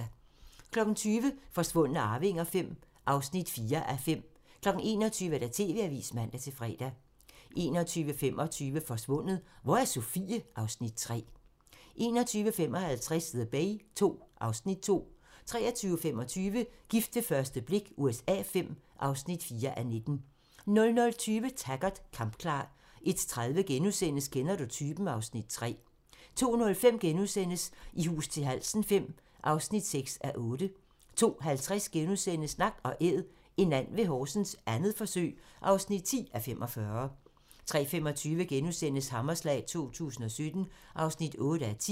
20:00: Forsvundne arvinger V (4:5) 21:00: TV-avisen (man-fre) 21:25: Forsvundet - Hvor er Sofie? (Afs. 3) 21:55: The Bay II (Afs. 2) 23:25: Gift ved første blik USA V (4:19) 00:20: Taggart: Kampklar 01:30: Kender du typen? (Afs. 3)* 02:05: I hus til halsen V (6:8)* 02:50: Nak & Æd - en and ved Horsens, 2. forsøg (10:45)* 03:25: Hammerslag 2017 (8:10)*